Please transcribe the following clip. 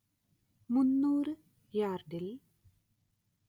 മുന്നൂറ്‌ യാർഡിൽ